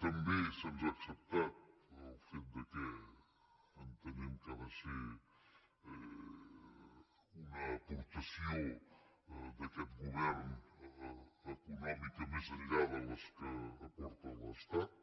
també se’ns ha acceptat el fet que entenem que ha de ser una aportació d’aquest govern econòmica més enllà de les que aporta l’estat